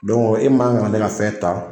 e man k'ale ka fɛn ta.